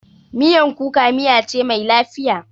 Miyan kuka miya ce mai lafiya.